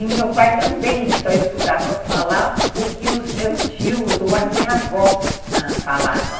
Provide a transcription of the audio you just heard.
E meu pai também só escutava falar o que os meus tios ou a minha avó ãh falavam.